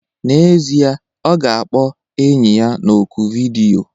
N'ezie, ọ ga-akpọ enyi ya na oku vidiyo.